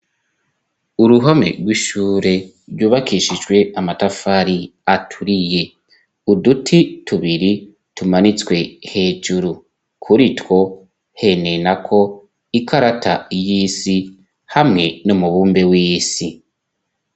Uruhome rw'ishure ryubakishijwe amatafari aturiye, uduti tubiri tumanitswe hejuru kuri two henenako ikarata y'isi hamwe no mubumbe w'isi.